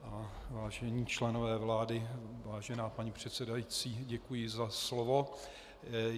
Vážení členové vlády, vážená paní předsedající, děkuji za slovo.